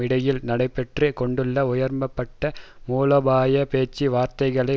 இடையில் நடைபெற்று கொண்டுள்ள உயர்மட்ட மூலோபாய பேச்சு வார்த்தைகளை